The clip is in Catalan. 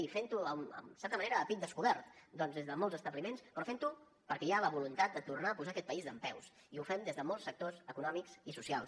i fent ho en certa manera a pit descobert des de molts establiments però fent ho perquè hi ha la voluntat de tornar a posar aquest país dempeus i ho fem des de molts sectors econòmics i socials